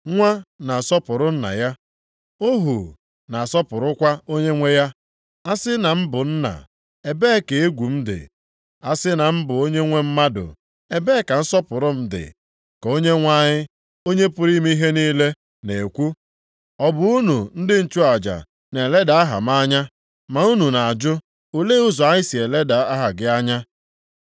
“Nwa na-asọpụrụ nna ya, ohu na asọpụrụkwa onyenwe ya. A sị na m bụ nna, ebee ka egwu m dị. A sị na m bụ onyenwe mmadụ, ebee ka nsọpụrụ m dị?” Ka Onyenwe anyị, Onye pụrụ ime ihe niile na-ekwu. “Ọ bụ unu ndị nchụaja na-eleda aha m anya. “Ma unu na-ajụ, ‘Olee ụzọ anyị si eleda aha gị anya?’